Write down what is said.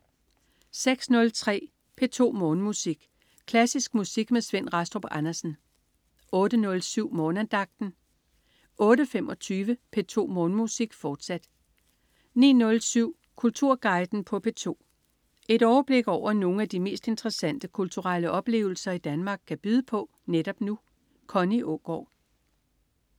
06.03 P2 Morgenmusik. Klassisk musik med Svend Rastrup Andersen 08.07 Morgenandagten 08.25 P2 Morgenmusik, fortsat 09.07 Kulturguiden på P2. Et overblik over nogle af de mest interessante kulturelle oplevelser Danmark kan byde på netop nu. Connie Aagaard